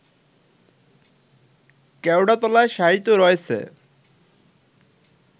কেওড়াতলায় শায়িত রয়েছে